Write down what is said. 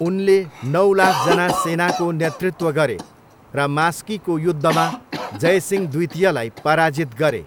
उनले नौ लाखजना सेनाको नेतृत्व गरे र मास्कीको युद्धमा जयसिंह द्वितीयलाई पराजित गरे।